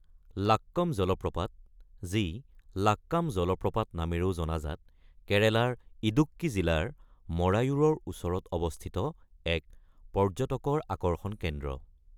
লাক্কম জলপ্ৰপাত, যি লাক্কাম জলপ্ৰপাত নামেৰেও জনাজাত কেৰেলাৰ ইডুক্কি জিলাৰ মৰায়ুৰৰ ওচৰত অৱস্থিত এক পৰ্য্যটকৰ আকৰ্ষণ কেন্দ্ৰ।